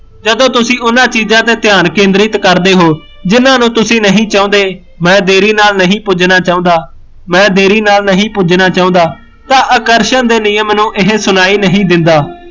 ਜਦੋ ਤੁਸੀਂ ਉਹਨਾਂ ਚੀਜ਼ਾਂ ਤੇ ਧਿਆਨ ਕੇਂਦਰਿਤ ਕਰਦੇ ਹੋ ਜਿਹਨਾਂ ਨੂੰ ਤੁਸੀਂ ਨਹੀਂ ਚਾਹੁੰਦੇ ਮੈਂ ਦੇਰੀ ਨਾਲ ਨਹੀਂ ਪੁੱਜਣਾ ਚਾਹੁੰਦਾਂ ਮੈਂ ਦੇਰੀ ਨਾਲ ਨਹੀਂ ਪੁੱਜਣਾ ਚਾਹੁੰਦਾ ਤਾਂ ਆਕਰਸ਼ਣ ਦੇ ਨਿਯਮ ਨੂੰ ਇਹ ਸੁਣਾਈ ਨਹੀਂ ਦਿੰਦਾ